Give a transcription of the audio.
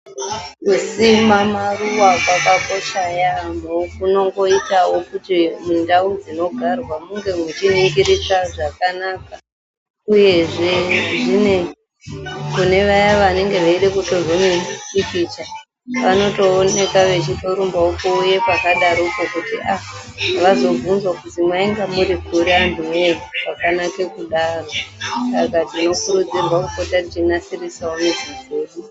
Kusima maruwa kwakakosha yaamho kunongoitawo kuti mundau dzinogarwa munge muchiningirika zvakanaka uyezve kunevaya vanenge veide kutorwe mipikicha vanotooneke vechitorumba kuuye pakadaropo kuti aah vazobvunzwa kuzi mwainge murikuri anhu woye kwakanaka kudaro saka tinokurudzirwa kupota techinasiridza mizi dzedu.